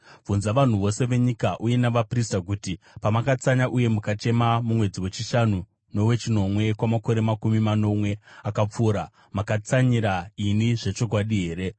“Bvunza vanhu vose venyika uye navaprista kuti, ‘Pamakatsanya uye mukachema mumwedzi wechishanu nowechinomwe kwamakore makumi manomwe akapfuura, makatsanyira ini zvechokwadi here?